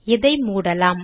இதை மூடலாம்